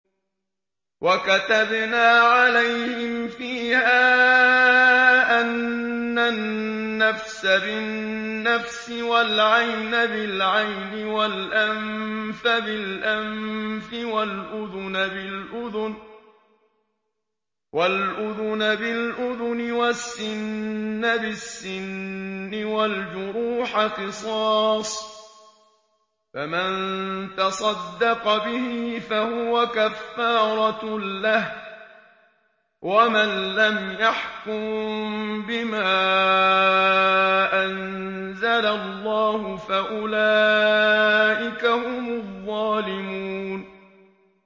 وَكَتَبْنَا عَلَيْهِمْ فِيهَا أَنَّ النَّفْسَ بِالنَّفْسِ وَالْعَيْنَ بِالْعَيْنِ وَالْأَنفَ بِالْأَنفِ وَالْأُذُنَ بِالْأُذُنِ وَالسِّنَّ بِالسِّنِّ وَالْجُرُوحَ قِصَاصٌ ۚ فَمَن تَصَدَّقَ بِهِ فَهُوَ كَفَّارَةٌ لَّهُ ۚ وَمَن لَّمْ يَحْكُم بِمَا أَنزَلَ اللَّهُ فَأُولَٰئِكَ هُمُ الظَّالِمُونَ